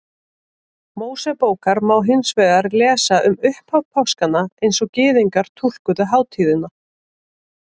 Mósebókar má hins vegar lesa um upphaf páskanna eins og Gyðingar túlkuðu hátíðina.